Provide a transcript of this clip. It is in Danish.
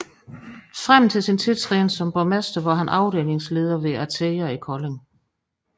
Frem til sin tiltræden som borgmester var han afdelingsleder hos ATEA i Kolding